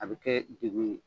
A bɛ kɛ de gun ye.